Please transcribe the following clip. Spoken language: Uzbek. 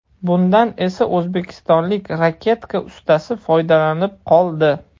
Bundan esa o‘zbekistonlik raketka ustasi foydalanib qoldi.